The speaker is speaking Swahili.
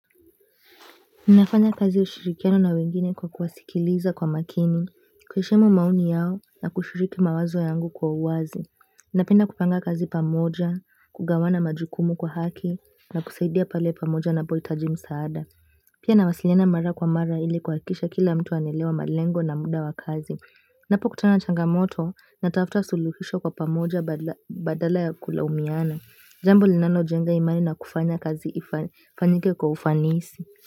Nafanya kazi ushirikiano na wengine kwa kuwasikiliza kwa makini, kuheshimu maoni yao na kushiriki mawazo yangu kwa uwazi. Napenda kupanga kazi pamoja, kugawana majukumu kwa haki, na kusaidia pale pamoja napohitaji msaada. Pia nawasiliana mara kwa mara ili kuhakikisha kila mtu anaelewa malengo na muda wa kazi. Napokutana na changamoto natafuta suluhisho kwa pamoja badala ya kulaumiana. Jambo linalojenga imani na kufanya kazi ifanyike kwa ufanisi.